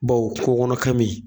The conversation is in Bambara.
Bɔn o kunɔnɔ kami